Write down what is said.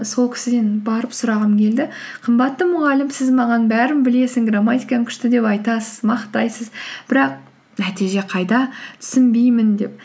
сол кісіден барып сұрағым келді қымбатты мұғалім сіз маған бәрін білесің грамматикаң күшті деп айтасыз мақтайсыз бірақ нәтиже қайда түсінбеймін деп